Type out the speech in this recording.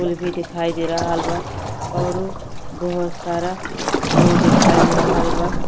पुल भी दिखाई दे रहल बा और बहोत सारा लोग दिखाई दे रहल बा ।